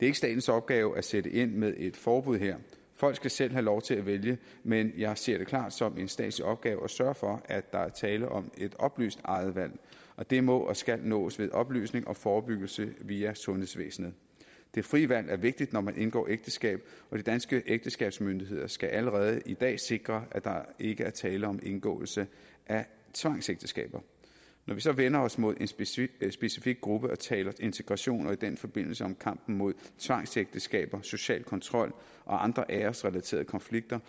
ikke statens opgave at sætte ind med et forbud her folk skal selv have lov til at vælge men jeg ser det klart som en statslig opgave at sørge for at der er tale om et oplyst eget valg og det må og skal nås ved oplysning og forebyggelse via sundhedsvæsenet det frie valg er vigtigt når man indgår ægteskab og de danske ægteskabsmyndigheder skal allerede i dag sikre at der ikke er tale om indgåelse af tvangsægteskab når vi så vender os mod en specifik gruppe og taler integration og i den forbindelse om kampen mod tvangsægteskaber social kontrol og andre æresrelaterede konflikter